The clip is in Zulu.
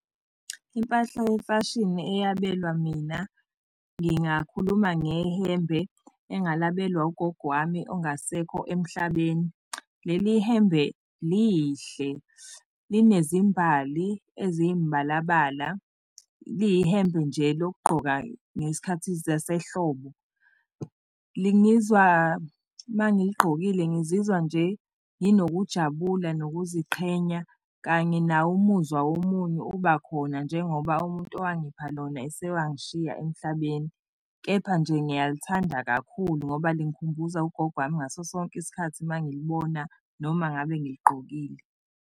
Impahla yemfashini eyabelwa mina ngingakhuluma ngehembe engalabelwa ugogo wami ongasekho emhlabeni. Leli hembe lihle, linezimbali eziyimbalabala liyihembe nje lokugqoka ngezikhathi zasehlobo. uma ngiligqokile ngizizwa nje nginokujabula nokuziqhenya kanye nawo umuzwa womunyu uba khona njengoba umuntu owangipha lona esewangishiya emhlabeni. Kepha nje ngiyalithanda kakhulu ngoba lingikhumbuza ugogo wami ngaso sonke isikhathi uma ngilibona noma ngabe ngiligqokile.